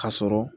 Ka sɔrɔ